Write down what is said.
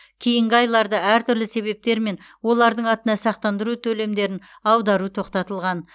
кейінгі айларды әртүрлі себептермен олардың атына сақтандыру төлемдерін аудару тоқтатылған